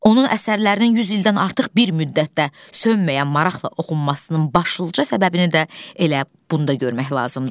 Onun əsərlərinin 100 ildən artıq bir müddətdə sönməyən maraqla oxunmasının başlıca səbəbini də elə bunda görmək lazımdır.